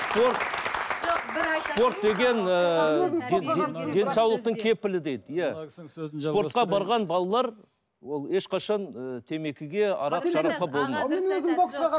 спорт спорт деген денсаулықтың кепілі дейді иә спортқа барған балалар ол ешқашан ыыы темекіге арақ шарапқа